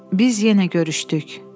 Biz yenə görüşdük.